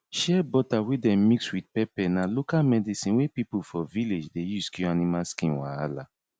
shea butter wey dem mix with pepper na local medicine wey people for village dey use cure animal skin wahala